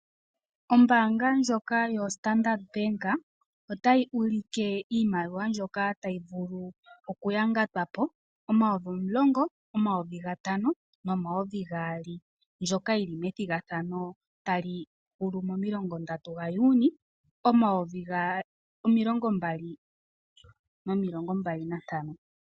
Ombaanga ndjoka yo Standard bank otayi ulike iimaliwa mbyoka tayi vulu oku ya ngatwapo omayovi omulongo, omayovi gatano, nomayovi gaali mbyoka yili methigathano tali hulu momilongo ndatu dha Juni omayovi gaali nomilongo mbali nantano.